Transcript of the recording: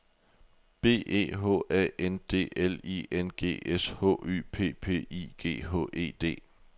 B E H A N D L I N G S H Y P P I G H E D